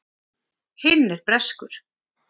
Hinn er breskur.